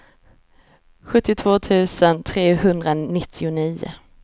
sjuttiotvå tusen trehundranittionio